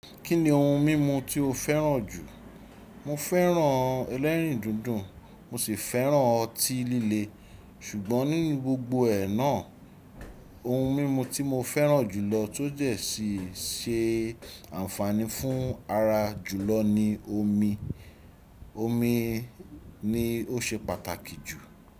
Kí ni ohun mímu tí o fẹ́ràn jù? Mo fẹ́ràn ẹlẹ́rìndòdò, mo si fẹ́ràn ọtí líle. Ṣùgbọ́n nínú gbogbo ẹ náà, ohun mímu tí mo fẹ́ràn jùlọ, tó jẹ́ sì se ànfàní fún ara jùlọ ni omi. Omi ni o ṣe pàtàkì jù.